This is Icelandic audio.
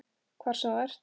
Hvar sem þú ert.